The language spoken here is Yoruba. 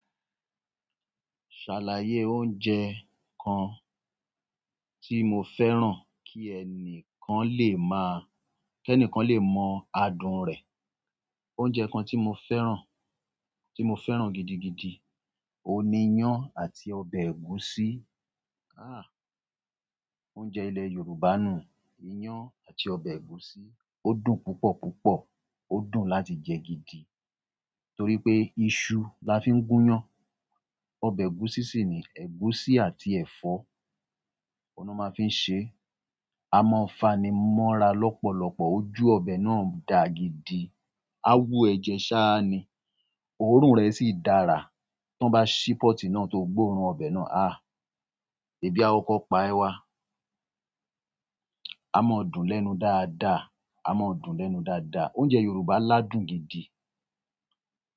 Ṣàlàyé oúnjẹ kan tí mo fẹ́ràn kí ẹnìkan lè máa-- kí ẹnìkan lè mọ adùn rẹ̀. Oúnjẹ kan tí mo fẹ́ràn, tí mo fẹ́ràn gidigidi, oun ni iyan àti ọbẹ̀ ẹ̀gúsí. Ah! Oúnjẹ ilẹ̀ Yorùbá nù un, iyán àti ọbẹ̀ ẹ̀gúsí. Ó dùn púpọ̀ púpọ̀. Ó dùn láti jẹ gidi torí pé iṣu la fi ń gúyán. Ọbẹ̀ ẹ̀gúsí sì ni ẹ̀gúsí àti ẹ̀fọ́ oun ni wọ́n máa fi ń ṣe. A mọ fanimọ́ra lọ́pọ̀lọpọ̀, ojú ọbẹ̀ náà dà gidi. A wú ẹ jẹ ṣáá ni, òórùn rẹ̀ sì dára. Tí wọ́n bá ṣí pọ́ọ̀tì náà tó gbóòórùn ọbẹ̀ náà, ah! Ebi a kọ́kọ́ pa ẹ wá. A mọ dùn lẹ́nu dáadáa. A mọ dùn lẹ́nu dáadáa. Oúnjẹ Yorùbá ládùn gidi.